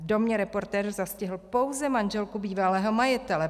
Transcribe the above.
V domě reportér zastihl pouze manželku bývalého majitele.